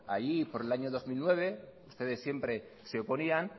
allí por el año dos mil nueve ustedes siempre se oponían